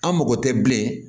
An mago tɛ bilen